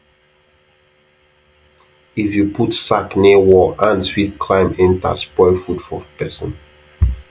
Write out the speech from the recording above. if you put sack near wall ant fit climb enter spoil food for person